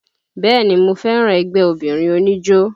Bẹ́ẹ̀ni mo fẹ́ràn ẹgbẹ́ obìnrin oníjó